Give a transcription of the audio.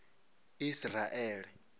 isiraele